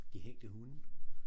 De hængte hunde